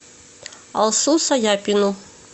алсу саяпину